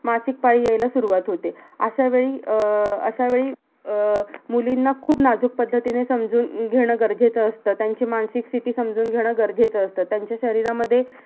मासिक पाळी यायला सुरवात होते. अश्या वेळी अह अश्या वेळी अह मुलींना खूप नाजूक पद्धतीने समजून घेणं गरजेचं असतं. त्यांची मानसिक स्थिती समजून घेणं गरजेचं असतं. त्यांचा शरीरामध्ये